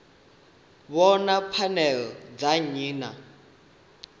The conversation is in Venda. vhona pfanelo dza nnyi na